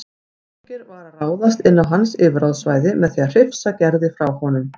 Þorgeir var að ráðast inn á hans yfirráðasvæði með því að hrifsa Gerði frá honum.